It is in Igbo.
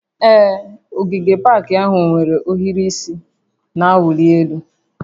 Ee, ogige pak ahụ nwere ohiri isi na-awụli elu